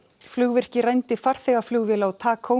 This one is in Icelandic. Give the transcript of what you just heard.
flugvirki rændi farþegaflugvél á